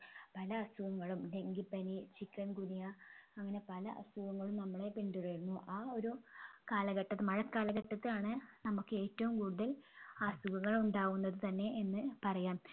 പല അസുഖങ്ങളും ഡങ്കിപ്പനി chikungunya അങ്ങനെ പല അസുഖങ്ങളും നമ്മളെ പിന്തുടരുന്നു ആ ഒരു കാലഘട്ടം മഴകാലഘട്ടത്താണ് നമ്മുക്ക് ഏറ്റവും കൂടുതൽ അസുഖങ്ങൾ ഉണ്ടാകുന്നത് തന്നെ എന്ന് പറയാം